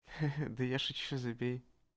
да я шучу забей